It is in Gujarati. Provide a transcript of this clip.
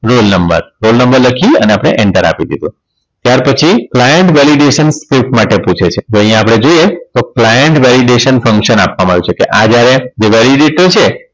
Roll number roll number લખી અને આપણે enter આપી દીધુ ત્યાર પછી client validation માટે પૂછે છે તો અહીંયા આપણે જોઈએ client validation function આપવામાં આવી છે કે આ જ્યારે validity છે